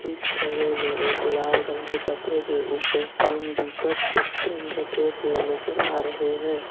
इस छवि मे एक लाल रंग के कपड़े के ऊपर तीन दीपक के स्टैंड रखे हुए नजर आ रहे हैं।